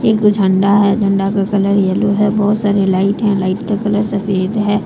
एक झंडा है झंडा का कलर येलो है बहोत सारी लाइट है लाइट का कलर सफेद है।